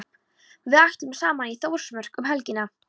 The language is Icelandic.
Við ætlum saman í Þórsmörk um helgina.